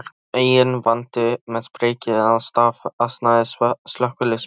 Enginn vandi með priki eða staf, ansaði slökkviliðsmaðurinn.